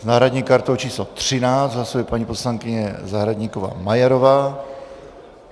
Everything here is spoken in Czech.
S náhradní kartou číslo 13 hlasuje paní poslankyně Zahradníková Majerová.